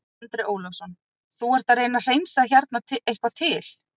Andri Ólafsson: Þú ert að reyna að hreinsa hérna eitthvað til?